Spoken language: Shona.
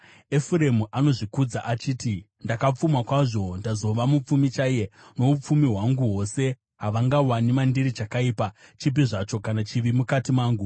Efuremu anozvikudza achiti, “Ndakapfuma kwazvo; ndazova mupfumi chaiye. Noupfumi hwangu hwose havangawani mandiri chakaipa chipi zvacho kana chivi mukati mangu.”